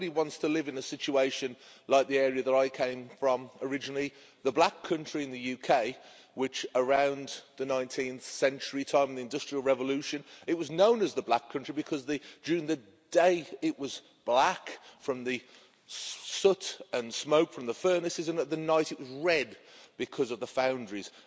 Nobody wants to live in a situation like the area that I came from originally, the Black Country in the UK, which around the 19th century, during the industrial revolution, was known as the Black Country because during the day it was black from the soot and smoke from the furnaces and at night it was red because of the foundries.